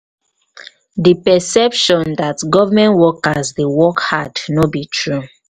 di perception dat government workers dey work hard no be true.